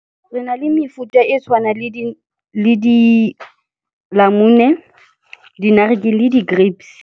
Re na le mefuta e tshwanang le dinamune, di-naartjie le di-grapes.